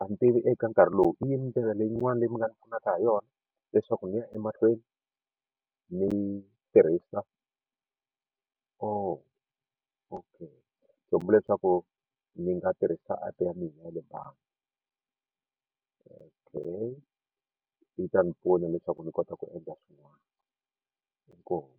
a ni tivi eka nkarhi lowu i yini ndlela leyiwani leyi mi nga ndzi pfunaka ha yona leswaku ni ya emahlweni ni tirhisa o okay kumbe hileswaku ndzi nga tirhisa app ya mina ya le bangi okay yi ta ni pfuna leswaku ni kota ku endla swin'wana inkomu.